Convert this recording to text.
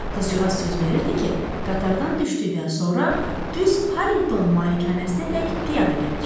Qızcığaz söz verirdi ki, qatardan düşdükdən sonra düz Harrington malikanəsinədək piyada gələcək.